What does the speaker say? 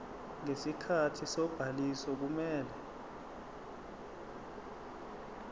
ngesikhathi sobhaliso kumele